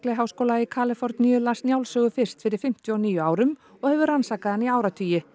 háskóla í Kaliforníu las Njálssögu fyrst fyrir fimmtíu og níu árum og hefur rannsakað hana í áratugi